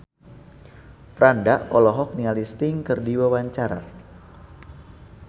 Franda olohok ningali Sting keur diwawancara